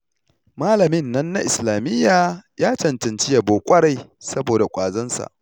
Malamin nan na islamiyya ya cancanci yabo ƙwarai saboda ƙwazonsa